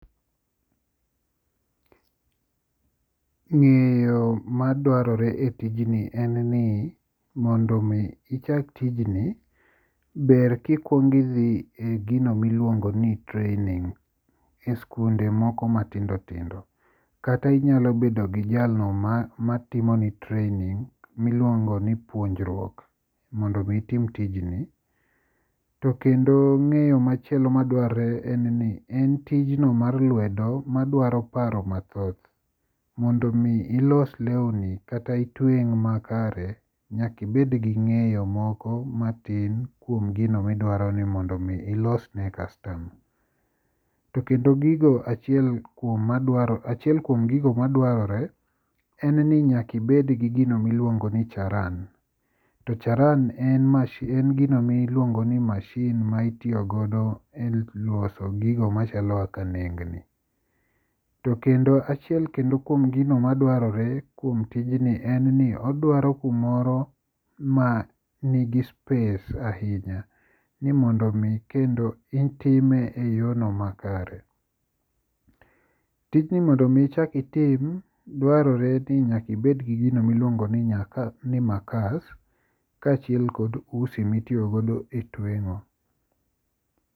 Ng'eyo madwarore e tijni en ni mondo mi ichak tijni ber ka ikuongo dhi e gino miluongo ni training e sikunde moko matindo tindo kata inyalo bedo gi jalno matimoni training miluongo ni puonjruok mondo mi itim tijni. To kendo ng'eyo machielo madwarre en ni en tijno mar lwedo madwaro paro mathoth mondo mi ilos lewni kata itweng' makare nyaka ibed gi ng'eyo moko kata matin kuom gino midwaro ni mondo mi ilos ne customer. To kendo gigo achiel kuom madwar achiel kuom gigo madwarre en ni nyaka ibed kod gino miluongo ni charan. To charan e gino miluongo ni masin ma itiyo godo eloso gigo machalo kaka nengni. To kendo achiel kuom gigo madwarre en ni odwaro kumoro ma nigi space ahinya ni mondo mi kendo itime eyorno makare. Tijni mondo ki iichak itim dwarre ni nyaka ibed gi gino miluongo ni makas kaachiel kod usi mitiyo go e tweng'o.